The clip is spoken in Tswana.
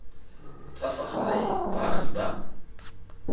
tsa fa gae baagi ba